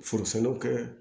Furusalo kɛ